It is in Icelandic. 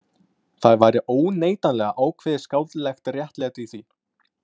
Það væri óneitanlega ákveðið skáldlegt réttlæti í því.